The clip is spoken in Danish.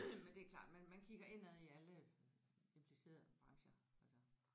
Men det er klart man man kigger indad i alle implicerede brancher altså